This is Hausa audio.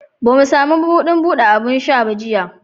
Ba mu sami mabudin bude abin sha ba jiya